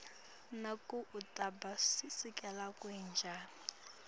nekutsi ubuse sikhatsi lesibze njani